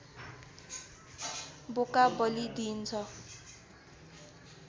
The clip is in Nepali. बोका बलि दिइन्छ